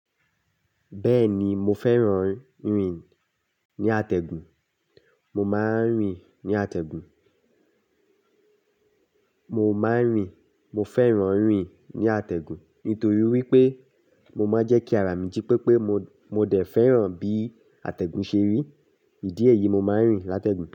Bẹ́ẹ̀ni, mo fẹ́ràn rìn ní àtẹ̀gùn. Mo máa ń rìn ní àtẹ̀gùn. Mo máa ń rìn, mo fẹ́ràn rìn ní àtẹ̀gùn nítorí wípé mo máa ń jẹ́ kí ara mi jí pépé, mo, mo dé fẹ́ràn bí àtẹ̀gùn ṣe rí. Ìdí èyí, mo máa ń rìn látẹ̀gùn.